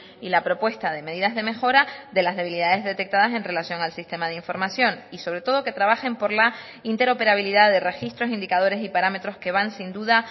y la propuesta de medidas de mejora de las debilidades detectadas en relación al sistema de información y sobre todo que trabajen por la interoperabilidad de registros indicadores y parámetros que van sin duda